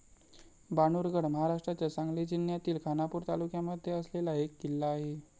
बाणूरगड महाराष्ट्राच्या सांगली जिल्यातील खानापूर तालुक्यामध्ये असलेला एक किल्ला आहे.